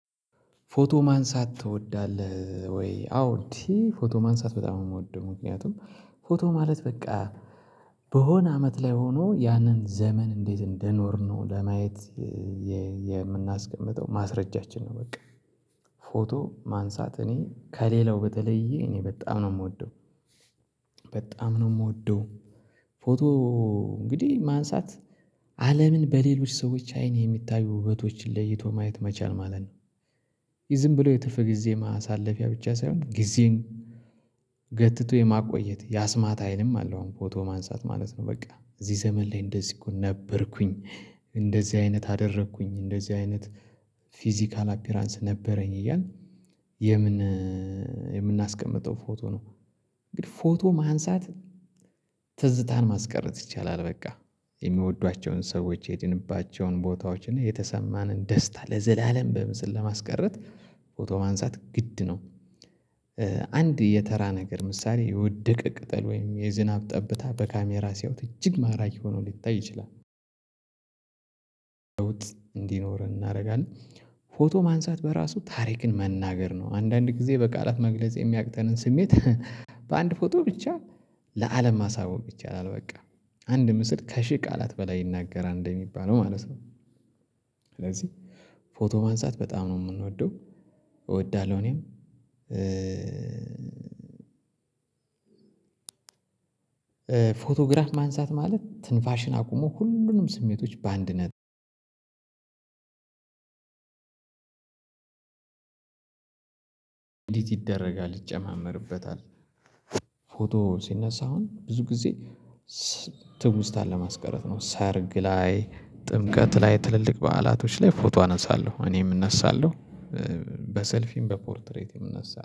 ፎቶ ማንሳት ትወዳለህ ወይ? አዎ እንዴ ፎቶ ማንሳት በጣም ነው የምወደው ምክንያቱም ፎቶ ማለት በቃ በሆነ አመት ላይ ሆኖ ያንን ዘመን እንዴት እንደኖርነው ለማየት የምናስቀምጠው ማስረጃችን ነው በቃ ፎቶ ማንሳት እኔ ከሌላው በተለየ እኔ በጣም ነው የምወደው በጣም ነው የምወደው ፎቶ እንግዲህ ማንሳት አለምን በሌሎች ሰዎች አይን የሚታዩ ውበቶችን ለይቶ ማየት መቻል ማለት ነው ዝም ብሎ የትርፍ ጊዜ ማሳለፊያ ብቻ ሳይሆን ጊዜን ገትቶ የማቆየት የአስማት ሀይልም አለው አሁን ፎቶ ማንሳት ማለት ነው በቃ እዚህ ዘመን ላይ እንደዚህ እኮ ነበርኩኝ እንደዚህ አይነት አደረግኩኝ እንደዚህ አይነት ፊዚካል አፒራንስ ነበረኝ እያልን የምን የምናስቀምጠው ፎቶ ነው እንግዲህ ፎቶ ማንሳት ትዝታን ማስቀረት ይቻላል በቃ የሚወዷቸውን ሰዎች የሄድንባቸውን ቦታዎች እና የተሰማንን ደስታ ለዘላለም በምስል ለማስቀረት ፎቶ ማንሳት ግድ ነው አንድ የተራ ነገር ምሳሌ የወደቀ ቅጠል ወይም የዝናብ ጠብታ በካሜራ ሲያውት እጅግ ማራኪ ሆኖ ሊታይ ይችላል ለውጥ እንዲኖር እናደርጋለን ፎቶ ማንሳት በራሱ ታሪክን መናገር ነው አንዳንድ ጊዜ በቃላት መግለጽ የሚያቅተንን ስሜት በአንድ ፎቶ ብቻ ለአለም ማሳወቅ ይቻላል በቃ አንድ ምስል ከሺህ ቃላት በላይ ይናገራል እንደሚባለው ማለት ነው የምናስቀምጠው ፎቶ ነው እንግዲህ ፎቶ ማንሳት ትዝታን ማስቀረት ይቻላል በቃ ማንሳት ማለት ትንፋሽን አቁሞ ሁሉንም ስሜቶች በአንድ ነጥብ ኢዲት ይደረጋል ይጨማመርበታል ፎቶ ሲነሳ አሁን ብዙ ጊዜ ትውስታን ለማስቀረት ነው ሰርግ ላይ ጥምቀት ላይ ትልልቅ በዓላቶች ላይ ፎቶ አነሳለሁ እኔም እነሳለሁ በሰልፊም በፖርትሬትም እነሳለሁ